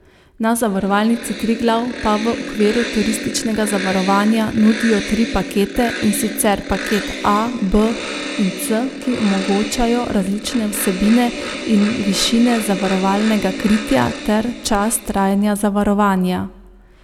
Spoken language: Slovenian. Na Zavarovalnici Triglav pa v okviru turističnega zavarovanja nudijo tri pakete, in sicer paket A, B in C, ki omogočajo različne vsebine in višine zavarovalnega kritja ter čas trajanja zavarovanja.